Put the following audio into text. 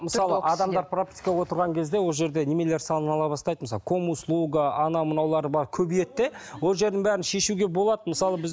мысалы адамдар пропискаға отырған кезде ол жерде бастайды мысалы комуслуга анау мынаулары бар көбейеді де ол жердің бәрін шешуге болады мысалы біз